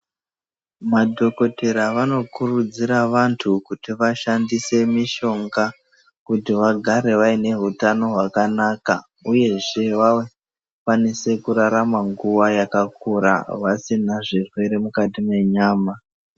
Madhokodheya vanokurudzira vantu kuti vashandise mishonga kuti vagare vaneutano hwakanaka uyezve vakwanise kurarama nguwa yakakura vasina zvirwere mukati mwenyama.